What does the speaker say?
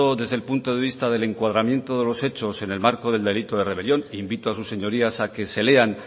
desde el punto de vista del encuadramiento de los hechos en el marco del delito de rebelión e invito a sus señorías a que se lean